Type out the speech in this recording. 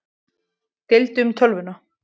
Deildu um tölvuna